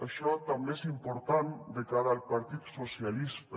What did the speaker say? això també és important de cara al partit socialista